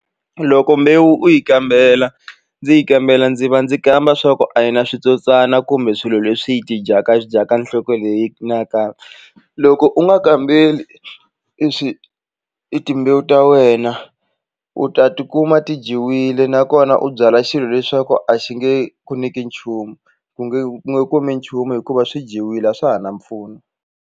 Loko mbewu u yi kambela ndzi yi kambela ndzi va ndzi kamba swa ku a yi na switsotswana kumbe swilo leswi yi tidyaka swi dyaka nhloko leyi loko u nga kambeli i swi i timbewu ta wena u ta tikuma ti dyiwile nakona u byala xilo leswaku a xi nge ku nyiki nchumu ku nge u nge kumi nchumu hikuva swi dyiwile a swa ha na mpfuno.